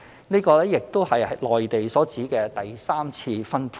這亦是內地所指的第三次分配。